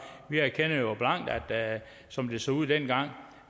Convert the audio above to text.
vi erkender jo blankt at som det så ud dengang